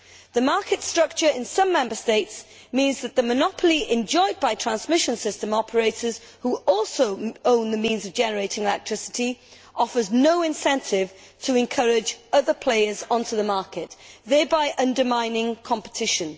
The market structure in some Member States means that the monopoly enjoyed by transmission system operators, who also own the means of generating electricity, offers no incentive to encourage other players onto the market, thereby undermining competition.